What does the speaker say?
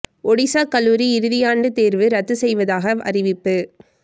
ஒடிசா கல்லூரி இறுதி ஆண்டு தேர்வு ரத்து செய்வதாக அறிவிப்பு